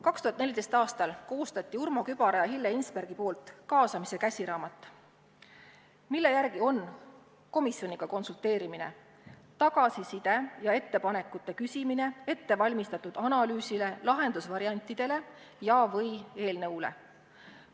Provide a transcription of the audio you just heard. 2014. aastal koostasid Urmo Kübar ja Hille Hinsberg "Kaasamise käsiraamatu", mille järgi hõlmab komisjoniga konsulteerimine tagasiside ja ettepanekute küsimist ettevalmistatud analüüsi, lahendusvariantide ja/või eelnõu kohta.